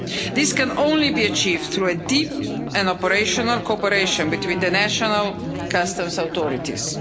This can only be achieved through a deep and operational cooperation between the national customs authorities.